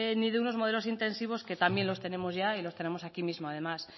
ni de unos modelos intensivos que también los tenemos ya y los tenemos aquí mismo además